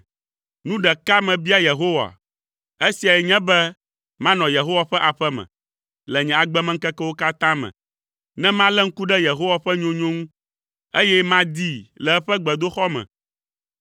Nu ɖeka mebia Yehowa, esiae nye be manɔ Yehowa ƒe aƒe me le nye agbemeŋkekewo katã me, ne malé ŋku ɖe Yehowa ƒe nyonyo ŋu, eye madii le eƒe gbedoxɔ me.